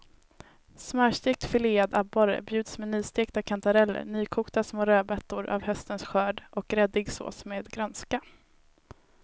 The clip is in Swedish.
Smörstekt filead abborre bjuds med nystekta kantareller, nykokta små rödbetor av höstens skörd och gräddig sås med grönska.